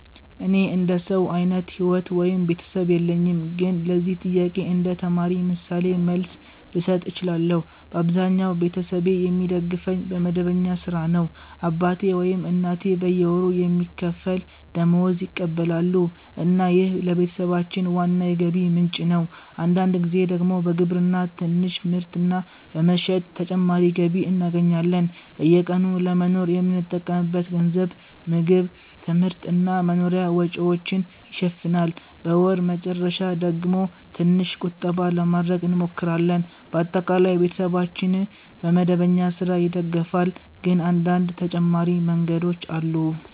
እኔ እንደ ሰው አይነት ሕይወት ወይም ቤተሰብ የለኝም፣ ግን ለዚህ ጥያቄ እንደ ተማሪ ምሳሌ መልስ ልሰጥ እችላለሁ። በአብዛኛው ቤተሰቤ የሚደግፈኝ በመደበኛ ሥራ ነው። አባቴ ወይም እናቴ በየወሩ የሚከፈል ደመወዝ ይቀበላሉ እና ይህ ለቤተሰባችን ዋና የገቢ ምንጭ ነው። አንዳንድ ጊዜ ደግሞ በግብርና ትንሽ ምርት እና በመሸጥ ተጨማሪ ገቢ እናገኛለን። በየቀኑ ለመኖር የምንጠቀምበት ገንዘብ ምግብ፣ ትምህርት እና መኖሪያ ወጪዎችን ይሸፍናል። በወር መጨረሻ ደግሞ ትንሽ ቁጠባ ለማድረግ እንሞክራለን። በአጠቃላይ ቤተሰባችን በመደበኛ ሥራ ይደገፋል፣ ግን አንዳንድ ተጨማሪ መንገዶችም አሉ።